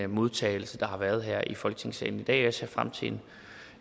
modtagelse der har været her i folketingssalen i dag jeg ser frem til